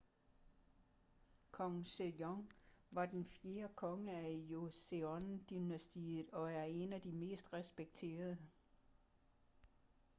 kong sejong var den fjerde konge af joseon-dynastiet og er en af de mest respekterede